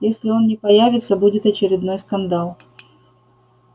если он не появится будет очередной скандал